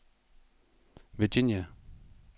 Virginia